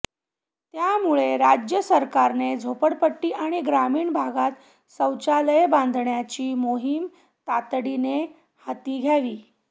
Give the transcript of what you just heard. त्यामुळे राज्य सरकारने झोपडपट्टी आणि ग्रामीण भागांत शौचालये बांधण्याची मोहीम तातडीने हाती घ्यावी